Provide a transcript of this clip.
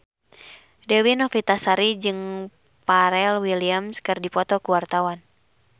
Dewi Novitasari jeung Pharrell Williams keur dipoto ku wartawan